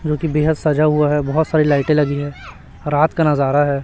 जो कि बेहद सजा हुआ है बहोत सारी लाइटे लगी है रात का नजारा है।